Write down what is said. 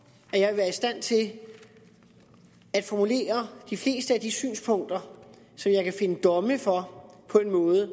at jeg ville være i stand til at formulere de fleste af de synspunkter som jeg kan finde domme for på en måde